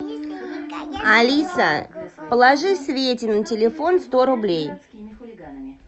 алиса положи свете на телефон сто рублей